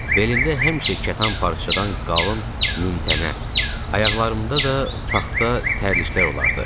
Belimdə həmişə kətan parçadan qalın nimtənə, ayaqlarımda da taxta tərliklər olardı.